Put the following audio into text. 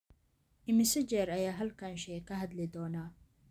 Immisa jeer ayaan halkan shay ka hadli doonnaa?